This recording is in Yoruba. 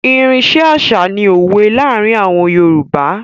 Irin iṣẹ́ àṣà ni òwe láàárín àwọn Yorùbá.